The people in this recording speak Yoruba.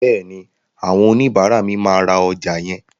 Bẹ́ẹ̀ni, àwọn oníbàárà mi máa ra ọjà yẹn.